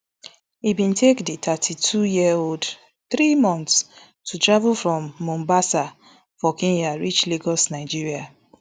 e bin take di thirty-twoyearold three months to travel from mombasa for kenya reach lagos nigeria